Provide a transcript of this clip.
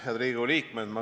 Head Riigikogu liikmed!